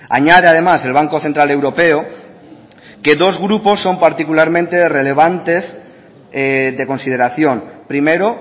añade además el banco central europeo que dos grupos son particularmente relevantes de consideración primero